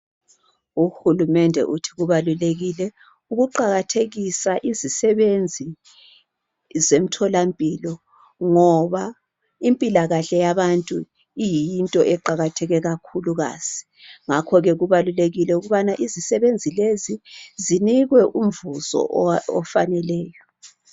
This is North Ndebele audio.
Uhulumende uthi kubalulekile ukuqakathekisa isisebenzi zemtholampilo ngoba impilakahle yabantu iyinto eqakatheke kakhulukazi. Ngakhoke kubalulekile ukubana izisebenzi lezi zinikwe umvuzo ofaneleyo.